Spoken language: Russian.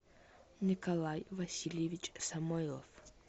николай васильевич самойлов